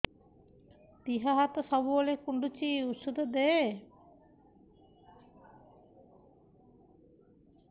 ଦିହ ହାତ ସବୁବେଳେ କୁଣ୍ଡୁଚି ଉଷ୍ଧ ଦେ